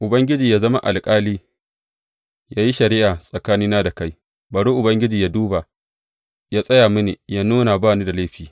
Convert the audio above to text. Ubangiji yă zama alƙali, yă yi shari’a tsakanina da kai, bari Ubangiji yă duba, yă tsaya mini, yă nuna ba ni da laifi.